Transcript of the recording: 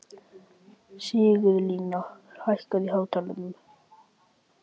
Sigurlína, hækkaðu í hátalaranum.